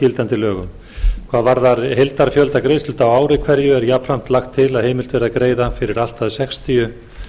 gildandi lögum hvað varðar heildarfjölda greiðsludaga á ári hverju er jafnframt lagt til að heimilt verði að greiða fyrir allt að sextíu